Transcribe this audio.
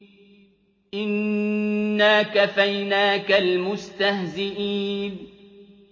إِنَّا كَفَيْنَاكَ الْمُسْتَهْزِئِينَ